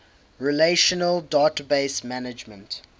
relational database management